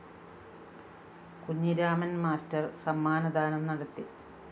Kunhiraman‍ master സമ്മാനദാനം നടത്തി